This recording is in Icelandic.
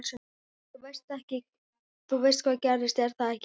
Þú veist hvað gerðist, er það ekki?